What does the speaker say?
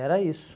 Era isso.